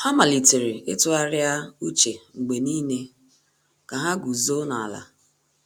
Há màlị́tèrè ítụ́gharị́a úchè mgbe nìile kà há gùzòó n’álá